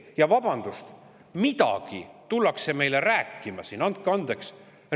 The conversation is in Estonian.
Ja siis tullakse meile midagi rääkima siin – andke andeks!